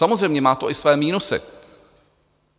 Samozřejmě má to i své minusy.